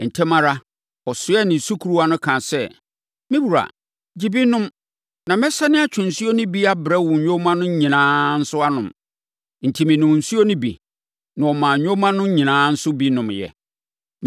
“Ntɛm ara, ɔsoɛɛ ne sukuruwa no kaa sɛ, ‘Me wura, gye bi nom na mɛsane atwe nsuo no bi abrɛ wo nyoma no nyinaa nso anom.’ Enti, menom nsuo no bi, na ɔmaa nyoma no nyinaa nso bi nomeeɛ.